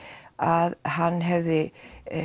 að hann hefði